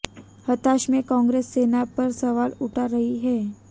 हताशा में कांग्रेस सेना पर सवाल उठा रही है